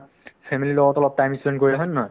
family ৰ লগত অলপ time ই span কৰিলে হয় নে নহয়